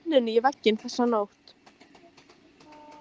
Barði enninu í vegginn þessa nótt.